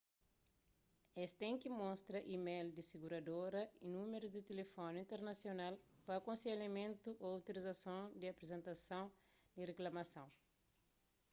es ten ki mostra email di siguradora y númerus di tilifoni internasional pa akonselhamentu/otorizasons y aprizentason di riklamason